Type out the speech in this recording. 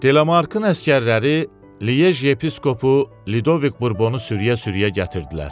Delamarkın əsgərləri Liej yepiskopu Lidoviq Burbonu sürüyə-sürüyə gətirdilər.